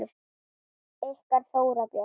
Ykkar Þóra Björk.